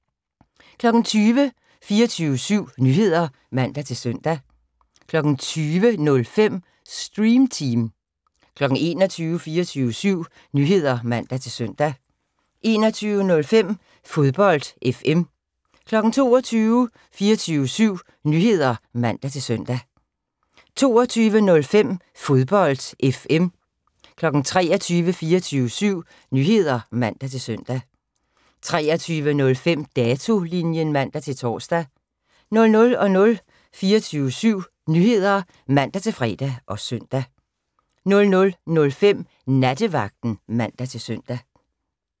20:00: 24syv Nyheder (man-søn) 20:05: Stream Team 21:00: 24syv Nyheder (man-søn) 21:05: Fodbold FM 22:00: 24syv Nyheder (man-søn) 22:05: Fodbold FM 23:00: 24syv Nyheder (man-søn) 23:05: Datolinjen (man-tor) 00:00: 24syv Nyheder (man-fre og søn) 00:05: Nattevagten (man-søn)